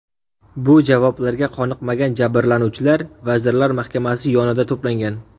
Bu javoblarga qoniqmagan jabrlanuvchilar Vazirlar Mahkamasi yonida to‘plangan.